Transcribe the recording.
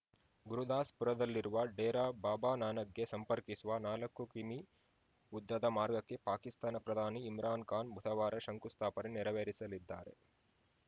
ಗುರುದಾಸ್‌ಪುರದಲ್ಲಿರುವ ಡೇರಾ ಬಾಬಾ ನಾನಕ್‌ಗೆ ಸಂಪರ್ಕಿಸುವ ನಾಲ್ಕು ಕಿಮೀ ಉದ್ದದ ಮಾರ್ಗಕ್ಕೆ ಪಾಕಿಸ್ತಾನ ಪ್ರಧಾನಿ ಇಮ್ರಾನ್‌ ಖಾನ್‌ ಬುಧವಾರ ಶಂಕು ಸ್ಥಾಪನೆ ನೆರವೇರಿಸಲಿದ್ದಾರೆ